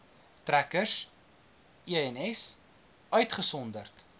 trekkers ens uitgesonderd